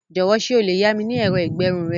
Jọ̀wọ́ ṣé o lè yá mi ní ẹ̀rọ ìgbẹrun rẹ?